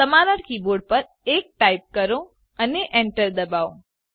તમારા કીબોર્ડ પર 1 ટાઈપ કરો અને એન્ટર દબાવો